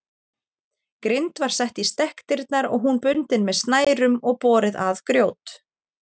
Grind var sett í stekkdyrnar og hún bundin með snærum og borið að grjót.